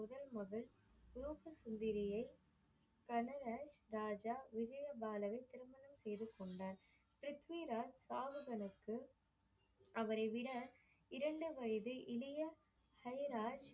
முதல் மகள் மூத்த சுந்தரியை கனக ராஜா விஜய பாலனின் திருமணம் செய்துக்கொண்டார். ப்ரித்விராஜ் பாவங்களுக்கு அவரைவிட இரண்டு வயது இளைய ஹரிராஜ்